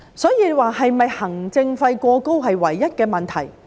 所以，行政費過高是否唯一的問題？